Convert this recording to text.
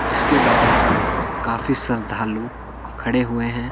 जिसके बाहर काफी श्रद्धालु खड़े हुए हैं।